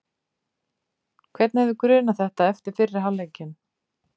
Hvern hefði grunað þetta eftir fyrri hálfleikinn?